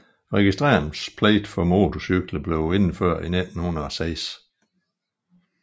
Registreringspligt for motorcykler blev indført i 1906